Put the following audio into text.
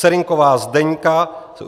Serynková Zdeňka